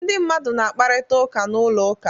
Ndị mmadụ na-akparịta ụka n'ụlọ ụka.